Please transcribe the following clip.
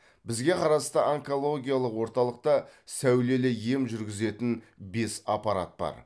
бізге қарасты онкологиялық орталықта сәулелі ем жүргізетін бес аппарат бар